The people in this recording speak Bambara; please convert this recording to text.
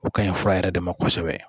O ka ɲi fura yɛrɛ de ma kosɛbɛ.